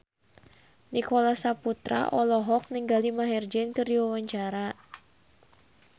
Nicholas Saputra olohok ningali Maher Zein keur diwawancara